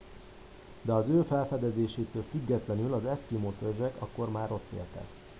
de az ő felfedezésétől függetlenül az eszkimó törzsek akkor már ott éltek